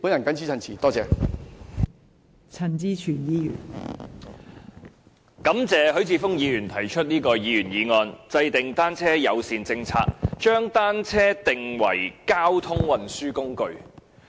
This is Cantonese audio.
代理主席，感謝許智峯議員提出這項議員議案："制訂單車友善政策，將單車定為交通運輸工具"。